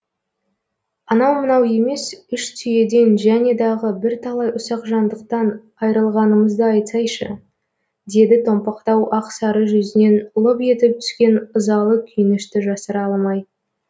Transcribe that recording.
анау мынау емес үш түйеден және дағы бірталай ұсақ жандықтан айырылғанымызды айтсайшы деді томпақтау ақ сары жүзінен лып етіп түскен ызалы күйінішті жасыра алмай